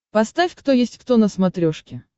поставь кто есть кто на смотрешке